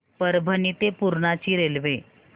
परभणी ते पूर्णा ची रेल्वे